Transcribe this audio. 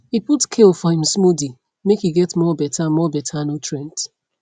e put kale for him smoothie make e get more better more better nutrient